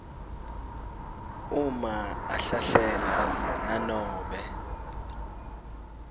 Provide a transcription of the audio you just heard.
uma ahlahlela nanobe